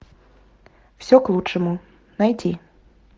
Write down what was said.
все к лучшему найти